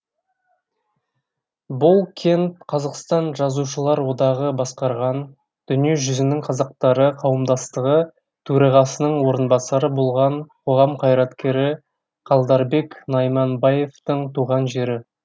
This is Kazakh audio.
бұл кент қазақстан жазушылар одағы басқарған дүние жүзінің қазақтары қауымдастығы төрағасының орынбасары болған қоғам қайраткері қалдарбек найманбаевтың туған жері